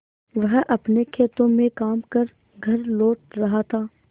वह अपने खेतों में काम कर घर लौट रहा था